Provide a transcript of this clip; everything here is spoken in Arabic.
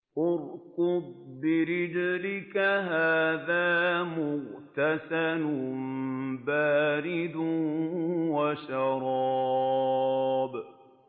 ارْكُضْ بِرِجْلِكَ ۖ هَٰذَا مُغْتَسَلٌ بَارِدٌ وَشَرَابٌ